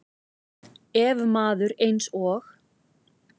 Ef maður eins og